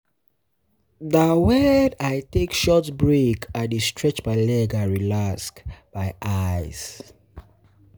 Na wen um I take short break, I dey stretch my legs and relax um my um eyes.